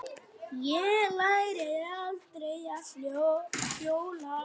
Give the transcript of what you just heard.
Ég lærði aldrei að hjóla.